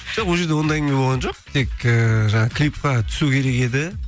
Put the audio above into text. жоқ ол жерде ондай әңгіме болған жоқ тек ііі жаңағы клипке түсу керек еді